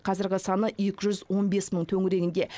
қазіргі саны екі жүз он бес мың төңірегінде